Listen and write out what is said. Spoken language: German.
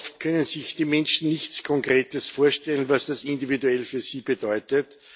Aber oft können sich die Menschen nicht konkret vorstellen, was das individuell für sie bedeutet.